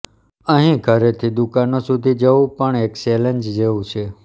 અહીં ઘરેથી દુકાનો સુધી જવું પણ એક ચેલેન્જ જેવું છે